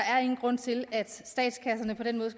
ingen grund til at statskasserne på den måde